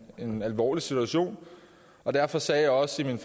en alvorlig situation og derfor sagde jeg også i min